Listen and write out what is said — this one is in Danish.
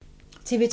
TV 2